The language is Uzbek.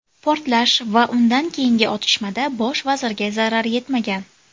Portlash va undan keyingi otishmada bosh vazirga zarar yetmagan .